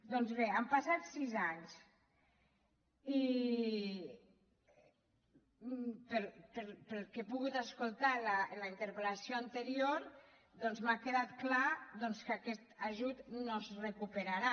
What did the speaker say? doncs bé han passat sis anys i pel que he pogut escoltar en la interpel·lació anterior m’ha quedat clar que aquest ajut no es recuperarà